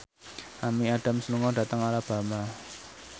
Amy Adams lunga dhateng Alabama